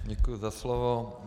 Děkuji za slovo.